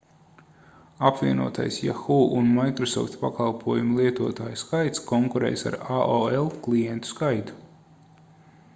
apvienotais yahoo un microsoft pakalpojumu lietotāju skaits konkurēs ar aol klientu skaitu